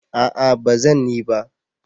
A'a ba zan yi ba